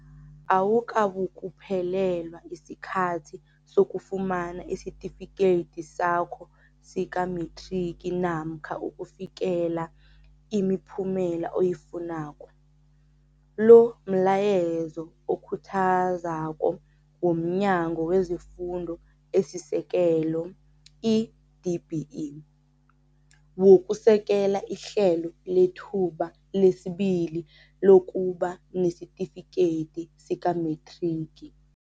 Awukabukuphelelwa sikhathi sokufumana isitifideki sakho sikamethrigi namkha ukufikelela imiphumela oyifunako, lo mlayezo okhuthazako womNyango wezeFundo esiSekel, i-DBE, wokusekela iHlelo leThuba lesiBili lokuba nesitifikedi sikamethrigi.